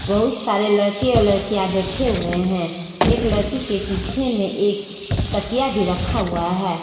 बहुत सारे लड़के और लड़कियां बैठे हुए हैं एक लड़की के पीछे में एक तकिया भी रखा हुआ है।